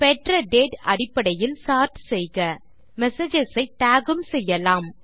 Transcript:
பெற்ற டேட் அடிப்படையில் சார்ட் செய்க மெசேஜஸ் ஐ டாக் உம் செய்யலாம்